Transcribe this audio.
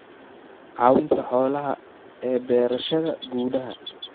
Caawinta xoolaha ee beerashada gudaha.